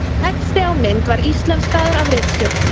Texti á mynd var íslenskaður af ritstjórn.